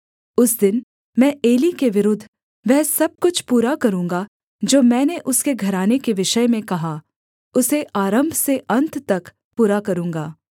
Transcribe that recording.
उस दिन मैं एली के विरुद्ध वह सब कुछ पूरा करूँगा जो मैंने उसके घराने के विषय में कहा उसे आरम्भ से अन्त तक पूरा करूँगा